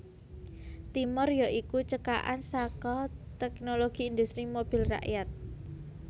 Timor ya iku cekakan saka Teknologi Industri Mobil Rakyat